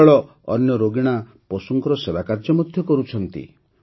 ଏହି ଦଳ ଅନ୍ୟ ରୋଗିଣା ପଶୁଙ୍କ ସେବାକାର୍ଯ୍ୟ ମଧ୍ୟ କରୁଛି